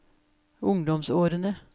ungdomsårene